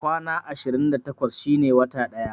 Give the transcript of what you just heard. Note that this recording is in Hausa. Kwana ashirin da takwas shine wata ɗaya